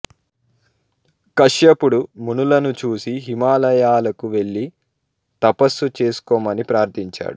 కశ్యపుడు మునులను చూసి హిమాలయాలకు వెళ్ళి తపస్సు చేసుకొమ్మని ప్రార్ధించాడు